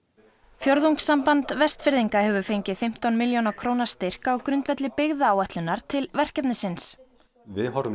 fjórðungssamband Vestfirðinga hefur fengið fimmtán milljóna króna styrk á grundvelli byggðaáætlunar til verkefnisins og við horfum